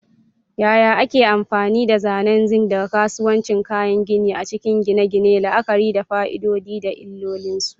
Yaya ake amfani da zanen zinc daga kasuwannin kayan gini a cikin gine-gine, la'akari da fa'idodi da illolinsu?